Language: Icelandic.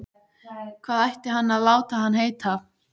Hvað ætti hann að láta hann heita?